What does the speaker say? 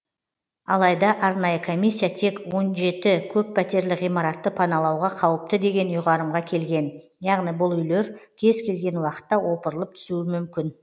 алайда арнайы комиссия тек он жеті көппәтерлі ғимаратты паналауға қауіпті деген ұйғарымға келген яғни бұл үйлер кез келген уақытта опырылып түсуі мүмкін